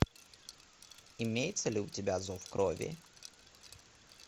имеется ли у тебя зов крови